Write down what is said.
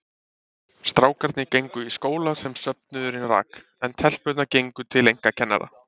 Strákarnir gengu í skóla sem söfnuðurinn rak, en telpurnar gengu til einkakennara.